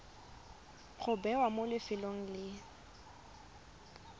go bewa mo lefelong le